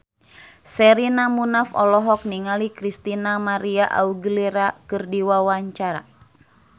Sherina Munaf olohok ningali Christina María Aguilera keur diwawancara